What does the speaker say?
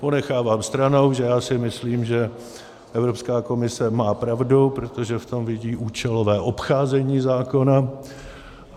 Ponechávám stranou, že já si myslím, že Evropská komise má pravdu, protože v tom vidí účelové obcházení zákona.